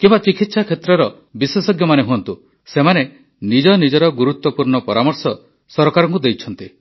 କିମ୍ବା ଚିକିତ୍ସା କ୍ଷେତ୍ରର ବିଶେଷଜ୍ଞମାନେ ହୁଅନ୍ତୁ ସେମାନେ ନିଜ ନିଜର ଗୁରୁତ୍ୱପୂର୍ଣ୍ଣ ପରାମର୍ଶ ସରକାରଙ୍କୁ ଦେଇଛନ୍ତି